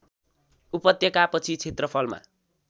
उपत्यका पछि क्षेत्रफलमा